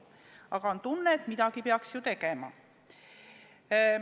Aga on tunne, et midagi peaks ju tegema.